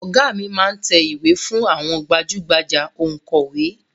Ọ̀gá mi máá ń tẹ ìwé fún àwọn gbajú-gbajà Ònkọ̀wẹ́